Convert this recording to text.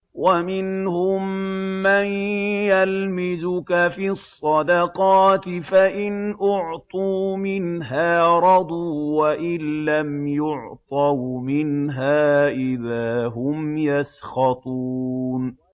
وَمِنْهُم مَّن يَلْمِزُكَ فِي الصَّدَقَاتِ فَإِنْ أُعْطُوا مِنْهَا رَضُوا وَإِن لَّمْ يُعْطَوْا مِنْهَا إِذَا هُمْ يَسْخَطُونَ